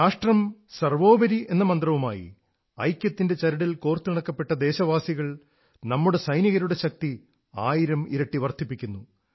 രാഷ്ട്രം സർവ്വോപരി എന്ന മന്ത്രവുമായി ഐക്യത്തിന്റെ ചരടിൽ കോർത്തിണക്കപ്പെട്ട ദേശവാസികൾ നമ്മുടെ സൈനികരുടെ ശക്തി ആയിരം ഇരട്ടി വർധിപ്പിക്കുന്നു